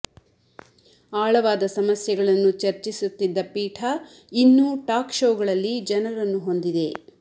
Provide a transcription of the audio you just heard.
ಆಳವಾದ ಸಮಸ್ಯೆಗಳನ್ನು ಚರ್ಚಿಸುತ್ತಿದ್ದ ಪೀಠ ಇನ್ನೂ ಟಾಕ್ ಶೋಗಳಲ್ಲಿ ಜನರನ್ನು ಹೊಂದಿದೆ